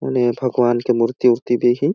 उने भगवान के मूर्ति-उर्ति भी हे।